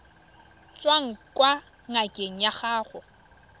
tswang kwa ngakeng ya gago